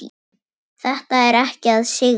Þetta er ekki að sigra.